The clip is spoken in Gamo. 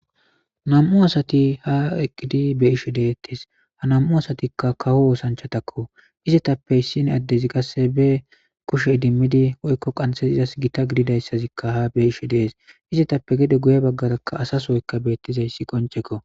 nam7u asati ha eqqidi be ishe deettes ha namu asatikka kawo oosanchatakko izetappe issin addezi qasse be kushe idimmidi woykko qanxhezizas gita gididayssazikka ha be ishe dees izetappe gede guye baggarakka asasoyka beettizayssi qonceko